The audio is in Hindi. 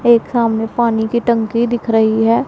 एक सामने पानी की टंकी दिख रही है।